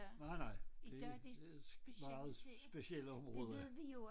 Nej nej det det meget specielle områder